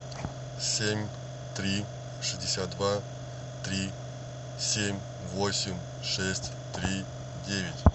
семь три шестьдесят два три семь восемь шесть три девять